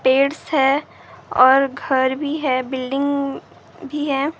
पेड़ हैं और घर भी हैं बिल्डिंग भी है ।